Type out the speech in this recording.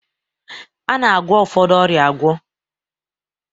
A na-agwọ ụfọdụ ọrịa agwọ